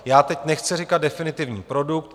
Já teď nechci říkat definitivní produkt.